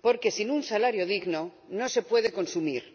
porque sin un salario digno no se puede consumir.